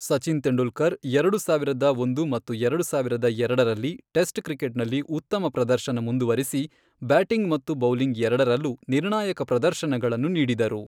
ಸಚಿನ್ ತೆಂಡೂಲ್ಕರ್ ಎರಡು ಸಾವಿರದ ಒಂದು ಮತ್ತು ಎರಡು ಸಾವಿರದ ಎರಡರಲ್ಲಿ ಟೆಸ್ಟ್ ಕ್ರಿಕೆಟ್ನಲ್ಲಿ ಉತ್ತಮ ಪ್ರದರ್ಶನ ಮುಂದುವರಿಸಿ, ಬ್ಯಾಟಿಂಗ್ ಮತ್ತು ಬೌಲಿಂಗ್ ಎರಡರಲ್ಲೂ ನಿರ್ಣಾಯಕ ಪ್ರದರ್ಶನಗಳನ್ನು ನೀಡಿದರು.